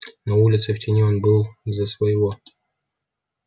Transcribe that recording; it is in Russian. на улице в тени он был за своего